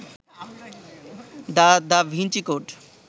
the Da Vinci code